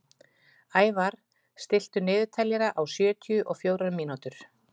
Ævarr, stilltu niðurteljara á sjötíu og fjórar mínútur.